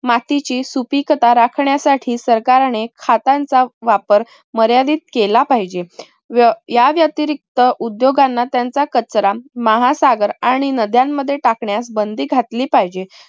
मातीची सुपीकता राखण्यासाठी सरकारने खतांचा वापर मर्यादित केला पाहिजे. व या व्यतिरिक्त उद्योगांना त्यांचा कचरा महासागर आणि नद्यांमध्ये टाकण्यास बंदी घातली पाहिजे.